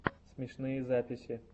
смешные записи